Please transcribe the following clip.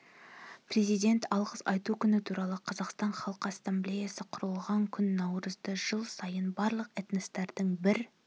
президент алғыс айту күні туралы қазақстан халқы ассамблеясы құрылған күн наурызды жыл сайын барлық этностардың бір